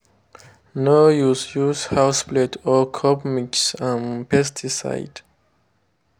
no use use house plate or cup mix um pesticide.